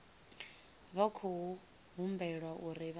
vha khou humbelwa uri vha